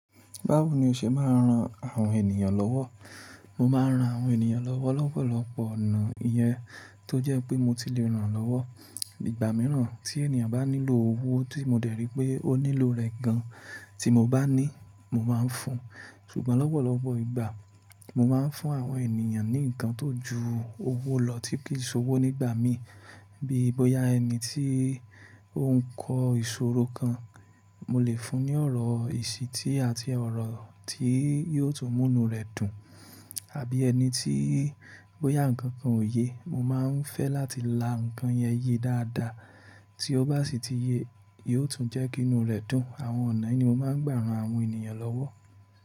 Báwo ni o ṣe máa ń ran àwọn ènìyàn lọ́wọ́? Mo máa ń ran àwọn ènìyàn lọ́wọ́ lọ́pọ̀lọpọ̀ ọ̀nà. Iyen tó jẹ́ pé mo ti le ràn lọ́wọ́. Ìgbà mìíràn tí ènìyàn bá nílò owó tí mo dẹ̀ rí pé ó nílò rẹ̀ gan, tí mo bá ní, mo máa ń fún. Ṣùgbọ́n lọ́pọ̀lọpọ̀ ìgbà, mo máa ń fún àwọn ènìyàn ní nǹkan tó ju owó lọ tí kì í ṣòwò nígbà mí. Bí i bóyá ẹni tí ó ń kọ ìṣòro kan, mo lè fún un ní ọ̀rọ̀ ìṣítí àti ọ̀rọ̀ tí yóò tún mú inú rẹ̀ dùn. Àbí ẹni tí bóyá ǹkan kan ò ye, mo máa ń fẹ́ láti la ǹkan yẹn ye dáadáa. Tí ó bá sì ti ye, yóò tún jẹ́ kí inú rẹ̀ dùn. Àwọn ọ̀nà yìí ni mo máa ń gbà ran àwọn ènìyàn lọ́wọ́.